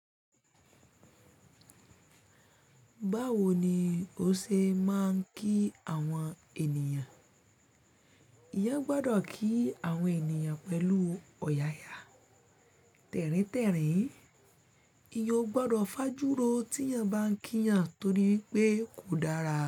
Báwo ni o ṣe máa ń kí àwọn ènìyàn? Èèyàn gbọ́dọ̀ kí àwọn ènìyàn pẹ̀lú ọ̀yàyà. Tẹ́rìn-tẹ́rìn, èèyàn ò gbọ́dọ̀ fajúro tí èèyàn bá ń kí èèyàn torí wípé kò dára.